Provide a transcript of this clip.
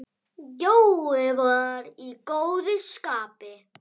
Jói var í góðu skapi.